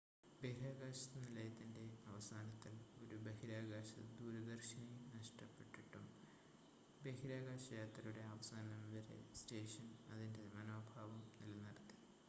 ബഹിരാകാശ നിലയത്തിൻ്റെ അവസാനത്തിൽ ഒരു ബഹിരാകാശ ദൂരദർശിനി നഷ്ടപ്പെട്ടിട്ടും ബഹിരാകാശയാത്രയുടെ അവസാനം വരെ സ്റ്റേഷൻ അതിൻ്റെ മനോഭാവം നിലനിർത്തി